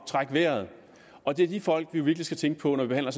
trække vejret og det er de folk vi virkelig skal tænke på når vi behandler